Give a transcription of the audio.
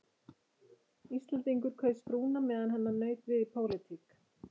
Íslendingur kaus frúna meðan hennar naut við í pólitík.